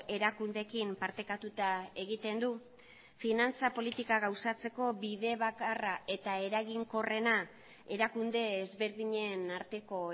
erakundeekin partekatuta egiten du finantza politika gauzatzeko bide bakarra eta eraginkorrena erakunde ezberdinen arteko